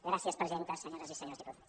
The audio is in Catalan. gràcies presidenta senyores i senyors diputats